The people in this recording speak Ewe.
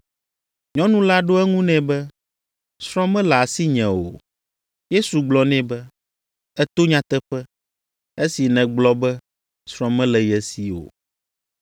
Nyɔnu la ɖo eŋu nɛ be, “Srɔ̃ mele asinye o.” Yesu gblɔ nɛ be, “Èto nyateƒe esi nègblɔ be srɔ̃ mele ye si o.